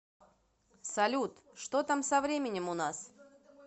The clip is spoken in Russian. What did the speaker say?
салют что там со временем у нас